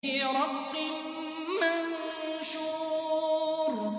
فِي رَقٍّ مَّنشُورٍ